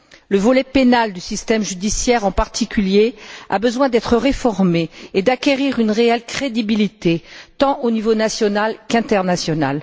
Le volet pénal du système judiciaire, en particulier, a besoin d'être réformé et d'acquérir une réelle crédibilité aux niveaux tant national qu'international.